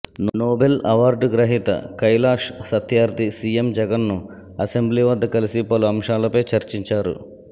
Nobel award గ్రహీత Kailash Satyarthi CM జగన్ను assembly వద్ద కలిసి పలు అంశాలపై చర్చించారు